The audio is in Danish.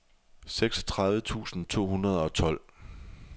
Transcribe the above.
seksogtredive tusind to hundrede og tolv